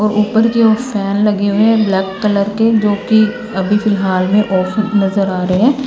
ऊपर की ओर फैन लगे हुए हैं ब्लैक कलर के जो कि अभी फिलहाल में ऑफ नजर आ रहे हैं।